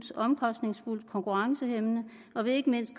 omkostningsfuldt og konkurrencehæmmende og at det ikke mindst